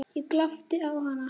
Ég glápti á hana.